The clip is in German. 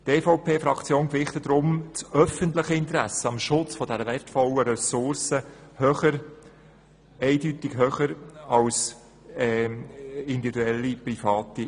Die EVP-Fraktion gewichtet die öffentlichen Interessen am Schutz dieser wertvollen Ressource eindeutig höher als die privaten.